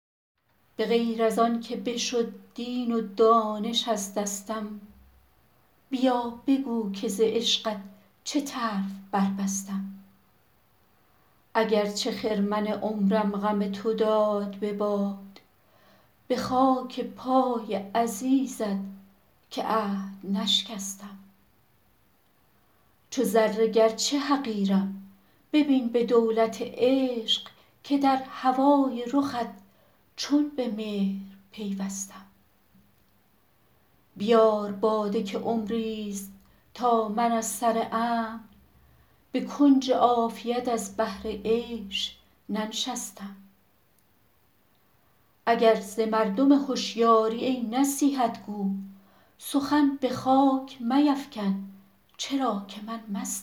به غیر از آن که بشد دین و دانش از دستم بیا بگو که ز عشقت چه طرف بربستم اگر چه خرمن عمرم غم تو داد به باد به خاک پای عزیزت که عهد نشکستم چو ذره گرچه حقیرم ببین به دولت عشق که در هوای رخت چون به مهر پیوستم بیار باده که عمریست تا من از سر امن به کنج عافیت از بهر عیش ننشستم اگر ز مردم هشیاری ای نصیحت گو سخن به خاک میفکن چرا که من مستم چگونه سر ز خجالت برآورم بر دوست که خدمتی به سزا برنیامد از دستم بسوخت حافظ و آن یار دلنواز نگفت که مرهمی بفرستم که خاطرش خستم